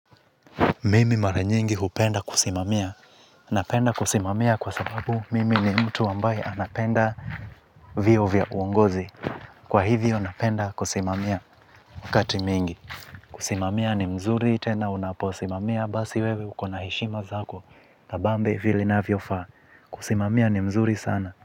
Mimi mara nyingi huoenda kusimamia. Napenda kusimamia kwa sababu mimi ni mtu ambae anapenda vyeo vya uongozi. Kwa hivyo napenda kusimamia wakati mingi. Kusimamia ni mzuri tena unaposimamia basi wewe ukona hishima zako na kabambe vili inavofaa. Kusimamia ni mzuri sana.